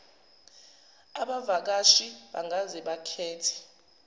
abavakashi bangaze bakhethe